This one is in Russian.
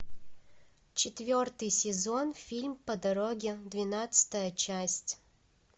четвертый сезон фильм по дороге двенадцатая часть